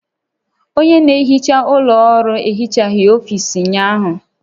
Onye na-ehicha ụlọ ọrụ ehichaghị ọfiisi ụnyaahụ